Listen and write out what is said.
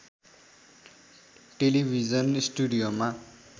television स्टुडियोमा